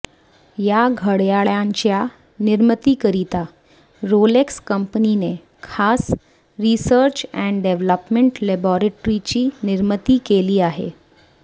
या घड्याळांच्या निर्मितीकरिता रोलेक्स कंपनीने खास रिसर्च अँड डेव्हलपमेंट लॅबोरेटरीची निर्मिती केली आहे